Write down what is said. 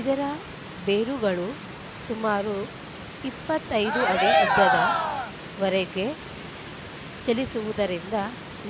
ಇದರ ಬೇರುಗಳು ಸುಮಾರು ಇಪ್ಪತ್ತ್ ಐದು ಅಡಿ ಉದ್ದದ ವರೆಗೆ ಚಲಿಸುವುದರಿಂದ